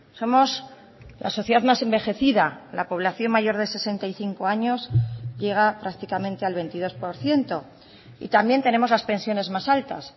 somos la sociedad más envejecida la población mayor de sesenta y cinco años llega prácticamente al veintidós por ciento y también tenemos las pensiones más altas